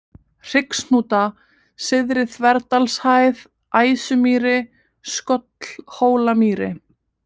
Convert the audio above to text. Hryggshnúta, Syðri-Þverdalshæð, Æsumýri, Skollhólamýri